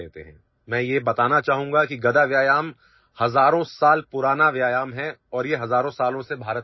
I would like to tell you that mace exercise is thousands of years old and it has been practiced in India for thousands of years